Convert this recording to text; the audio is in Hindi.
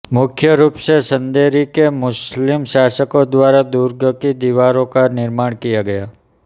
मुख्य रूप से चंदेरी के मुस्लिम शासकों द्वारा दुर्ग की दीवारों का निर्माण किया गया